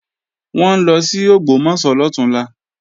Wọ́n ń lọ sí Ògbómọ̀ṣọ́ lọ̀túnla